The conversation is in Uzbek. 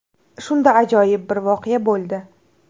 Shunda ajoyib bir voqea bo‘ldi.